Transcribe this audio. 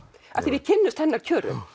af því við kynnumst hennar kjörum